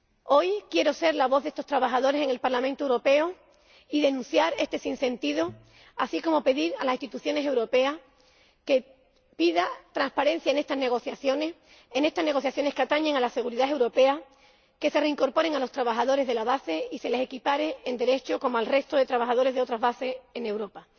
Hoy, quiero ser la voz de estos trabajadores en el Parlamento Europeo y denunciar este sinsentido, así como pedir a las instituciones europeas que pidan transparencia en estas negociaciones que atañen a la seguridad europea que se reincorpore a los trabajadores de la base y se les equipare en derechos al resto de trabajadores de otras bases en Europa,